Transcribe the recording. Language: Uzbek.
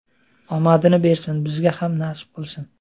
Omadini bersin, bizga ham nasib qilsin.